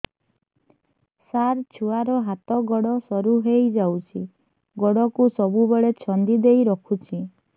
ସାର ଛୁଆର ହାତ ଗୋଡ ସରୁ ହେଇ ଯାଉଛି ଗୋଡ କୁ ସବୁବେଳେ ଛନ୍ଦିଦେଇ ରଖୁଛି